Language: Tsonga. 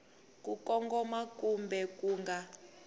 ku kongoma kumbe ku nga